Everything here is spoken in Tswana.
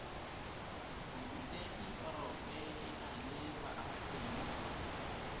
borutegi porofe enale ba aforika